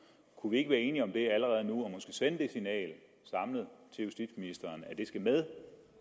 kunne vi ikke være enige om det allerede nu og måske sende det signal samlet til justitsministeren at det skal med